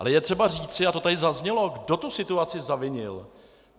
Ale je třeba říci - a to tady zaznělo -, kdo tu situaci zavinil.